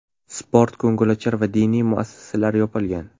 Sport, ko‘ngilochar va diniy muassasalar yopilgan.